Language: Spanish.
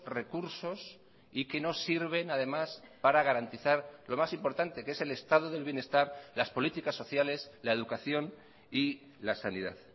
recursos y que no sirven además para garantizar lo más importante que es el estado del bienestar las políticas sociales la educación y la sanidad